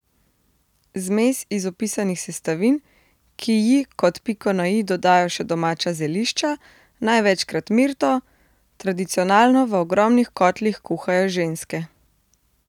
Zmes iz opisanih sestavin, ki ji kot piko na i dodajo še domača zelišča, največkrat mirto, tradicionalno v ogromnih kotlih kuhajo ženske.